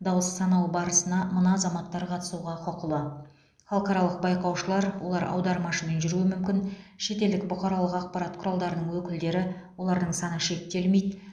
дауыс санау барысына мына азаматтар қатысуға құқылы халықаралық байқаушылар олар аудармашымен жүруі мүмкін шетелдік бұқаралық ақпарат құралдарының өкілдері олардың саны шектелмейді